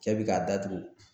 Cɛ bi k'a datugu